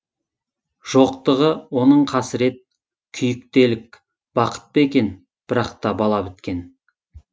жоқтығы оның қасірет күйік делік бақыт па екен бірақ та бала біткен